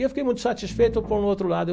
E eu fiquei muito satisfeito com o outro lado.